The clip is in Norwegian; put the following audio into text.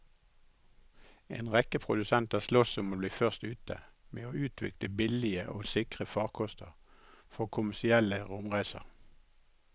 En rekke produsenter sloss om å bli først ute med å utvikle billige og sikre farkoster for kommersielle romreiser.